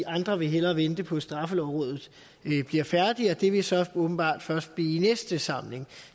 andre vil hellere vente på at straffelovrådet bliver færdigt og det vil så åbenbart først blive i næste samling